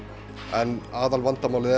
en aðalvandamálið